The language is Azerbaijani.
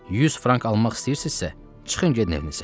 100 frank almaq istəyirsinizsə, çıxın gedin evinizə.